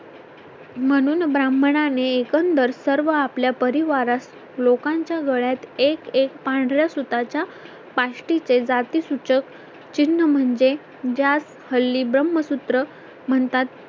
म्हणुन ब्राह्मणानें एकंदर सर्व आपल्या परिवारास लोकांच्या गळ्यात एक एक पांढऱ्या सुताच्या पाष्टीचे जाती सूचक चिन्ह म्हणजे ज्यात हल्ली ब्रह्मसूत्र म्हणतात